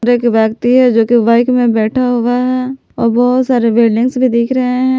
एक व्यक्ति है जो की बाइक में बैठा हुआ है और बहुत सारे बिल्डिंग्स भी दिख रहे हैं।